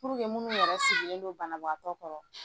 Puruke minnu yɛrɛ sigilen don banabagatɔ kɔrɔ,